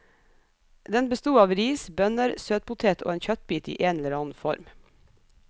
Den besto av ris, bønner, søtpotet og en kjøttbit i en eller annen form.